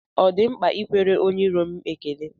Ọ di mkpa ịkwere onye iro m ekele?